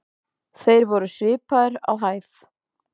Þeir voru svipaðir á hæð.